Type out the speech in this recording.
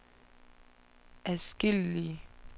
adskillige